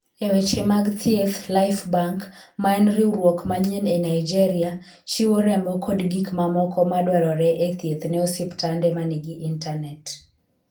E weche mag thieth, Lifebank, ma en riwruok manyien e Nigeria, chiwo remo kod gik mamoko madwarore e thieth ne osiptande ma nigi intanet.